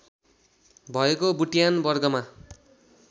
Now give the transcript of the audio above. भएको बुट्यान वर्गमा